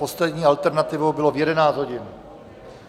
Poslední alternativou bylo v 11 hodin.